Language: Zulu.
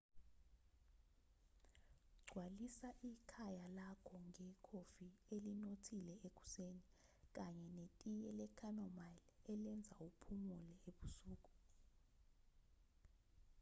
gcwalisa ikhaya lakho ngekhofi elinothile ekuseni kanye netiye le-chamomile elenza uphumule ebusuku